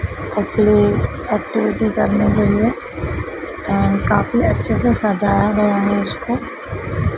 कपड़े एक्टिविटी करने के लिए अं काफी अच्छे से सजाया गया है उसको--